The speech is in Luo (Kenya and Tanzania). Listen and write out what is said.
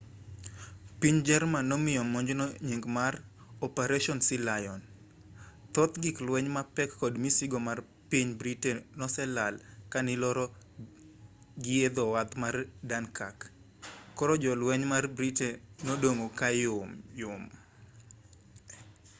piny jerman nomiyo monjno nying mar operation sealion thoth gik lueny mapek kod misigo mar piny britain noselal kaniloro gii edhowath mar dunkirk koro jolweny mar britain nodong' kayom yom